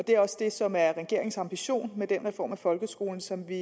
det er også det som er regeringens ambition med den reform af folkeskolen som vi